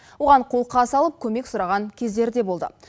оған қолқа салып көмек сұраған кездері де болды